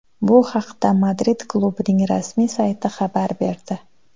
Bu haqda Madrid klubining rasmiy sayti xabar berdi .